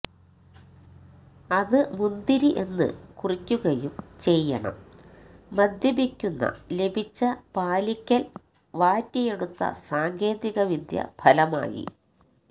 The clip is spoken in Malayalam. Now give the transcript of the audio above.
അത് മുന്തിരി എന്ന് കുറിക്കുകയും ചെയ്യണം മദ്യപിക്കുന്ന ലഭിച്ച പാലിക്കൽ വാറ്റിയെടുത്ത സാങ്കേതികവിദ്യ ഫലമായി